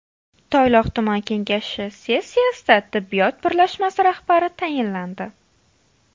Toyloq tuman kengashi sessiyasida tibbiyot birlashmasi rahbari tayinlandi.